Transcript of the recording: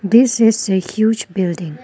this is a huge building